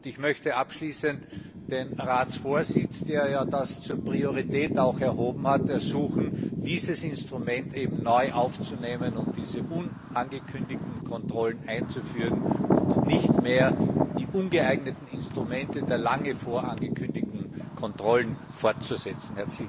Ich möchte abschließend den Ratsvorsitz, der das auch zur Priorität erhoben hat, ersuchen, dieses Instrument neu aufzunehmen und diese unangekündigten Kontrollen einzuführen und nicht mehr die ungeeigneten Instrumente der lange vorangekündigten Kontrollen fortzusetzen.